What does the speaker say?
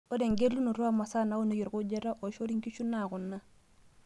Ore engelunoto oomasaa naunieki orkujita oishori nkishu naa kuna;